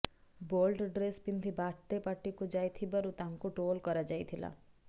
bold dress ପିନ୍ଧି birthday ପାର୍ଟିକୁ ଯାଇଥିବାରୁ ତାଙ୍କୁ ଟ୍ରୋଲ କରାଯାଇଥିଲା